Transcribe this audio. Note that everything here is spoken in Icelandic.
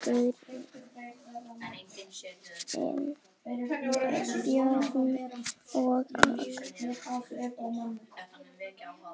Jón Guðni, Bjarni og Agnar.